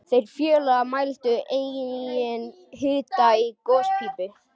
Þeir félagar mældu einnig hita í gospípu